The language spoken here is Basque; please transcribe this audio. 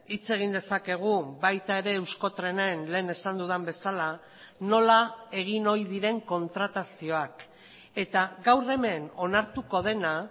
hitz egin dezakegu baita ere euskotrenen lehen esan dudan bezala nola egin ohi diren kontratazioak eta gaur hemen onartuko dena